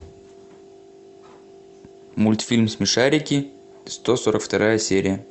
мультфильм смешарики сто сорок вторая серия